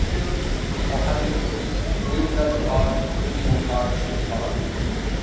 Dafür muss auch Handelspolitik multilateral und demokratisch getragen werden.